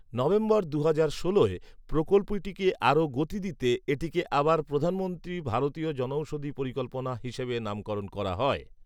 November দুহাজার ষোলোয়, প্রকল্পটিকে আরও গতি দিতে, এটিকে আবার "প্রধানমন্ত্রী ভারতীয় জনঔষধী পরিকল্পনা" হিসাবে নামকরণ করা হয়